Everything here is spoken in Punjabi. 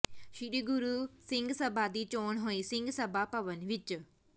ਸ੍ਰੀ ਗੁਰੂ ਸਿੰਘ ਸਭਾ ਦੀ ਚੋਣ ਹੋਈ ਸਿੰਘ ਸਭਾ ਭਵਨ ਵਿਚ